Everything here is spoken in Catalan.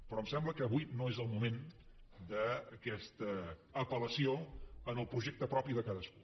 però em sembla que avui no és el moment d’aquesta apel·lació al projecte propi de cadascú